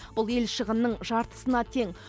бұл ел шығынының жартысына тең